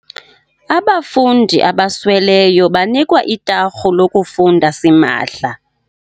Abafundi abasweleyo banikwa itarhu lokufunda simahla.